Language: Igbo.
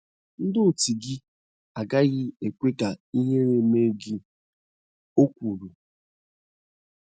“ Ndị otu gị agaghị ekwe ka ịhere mee gi, ” o kwuru.